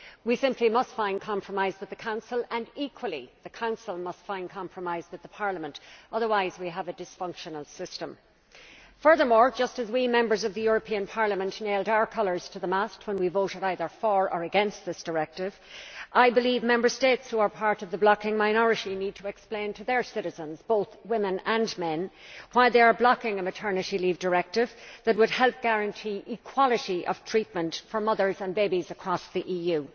We simply must find compromise with the Council and, equally, the Council must find compromise with Parliament otherwise we have a dysfunctional system. Furthermore just as we Members of the European Parliament nailed our colours to the mast when we voted either for or against this directive, I believe Member States who are part of the blocking minority need to explain to their citizens, both women and men, why they are blocking a Maternity Leave Directive that would help guarantee equality of treatment for mothers and babies across the EU.